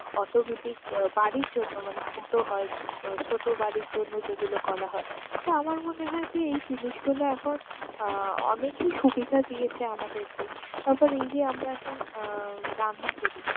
automatic আহ বাড়ির জন্য মানে ছোট হয়, ছোট বাড়ির জন্য যেগুলো করা হয়। তো আমার মনে হয় যে এই জিনিসগুলো এখন আহ অনেকেই সুবিধা দিয়েছে আমাদেরকে। তারপর এই যে আমরা এখন আহ রান্না করি